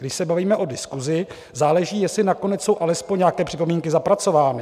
Když se bavíme o diskusi, záleží, jestli nakonec jsou alespoň nějaké připomínky zapracovány.